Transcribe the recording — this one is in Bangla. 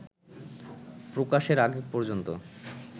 প্রকাশের আগে পর্যন্ত